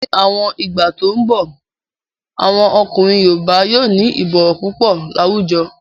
Ní àwọn ìgbà tó n bọ̀, àwọn ọkùnrin yoòbá yóò ní ìbọ̀wọ̀ púpọ̀ láwùjọ